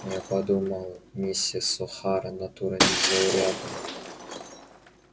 я подумал миссис охара натура незаурядная